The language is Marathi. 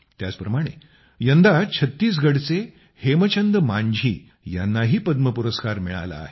याचप्रमाणे यंदा छत्तीसगढचे हेमचंद मांझी यांनाही पद्म पुरस्कार मिळाला आहे